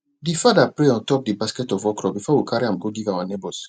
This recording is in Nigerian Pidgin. de father pray on top de basket of okra before we carry am go give our neighbors